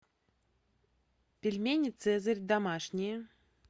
пельмени цезарь домашние